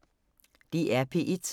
DR P1